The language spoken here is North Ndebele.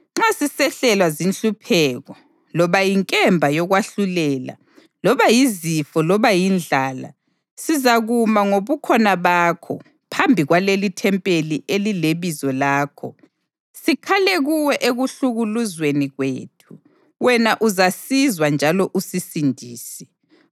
‘Nxa sisehlelwa zinhlupheko, loba yinkemba yokwahlulela, loba yizifo loba yindlala, sizakuma ngobukhona bakho phambi kwalelithempeli elileBizo lakho sikhale kuwe ekuhlukuluzweni kwethu, wena uzasizwa njalo usisindise.’